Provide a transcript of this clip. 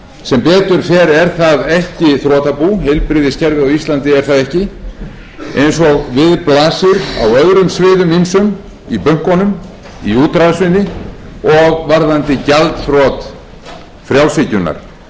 sem betur fer er það ekki þrotabú heilbrigðiskerfið á íslandi er það ekki eins og við blasir á öðrum sviðum ýmsum í bönkunum í útrásinni og varðandi gjaldþrot frjálshyggjunnar heilbrigðiskerfið á